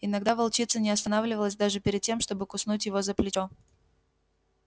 иногда волчица не останавливалась даже перед тем чтобы куснуть его за плечо